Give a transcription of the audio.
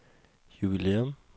jubilæum